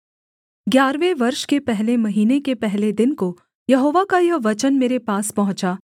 ग्यारहवें वर्ष के पहले महीने के पहले दिन को यहोवा का यह वचन मेरे पास पहुँचा